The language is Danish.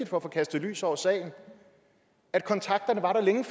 for at få kastet lys over sagen at kontakterne var der længe